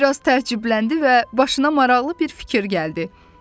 O biraz təəccübləndi və başına maraqlı bir fikir gəldi.